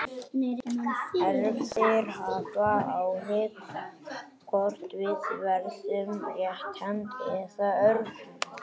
Erfðir hafa áhrif á það hvort við verðum rétthent eða örvhent.